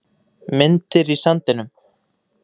Myndir í sandinum